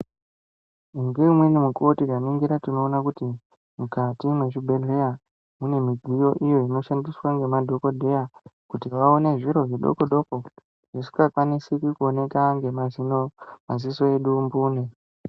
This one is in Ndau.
Ngeumweni mukuvo tikaningira tinoona kuti mukati mwezvibhedhleya mune midziyo iyo inoshandiswa nemadhogodheya. Kuti vaone zviro zvidokodoko zvisika kwanisi kuoneka nemaziso edu mbune.